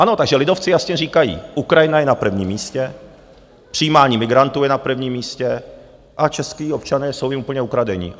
Ano, takže lidovci jasně říkají: Ukrajina je na prvním místě, přijímání migrantů je na prvním místě a čeští občané jsou jim úplně ukradení.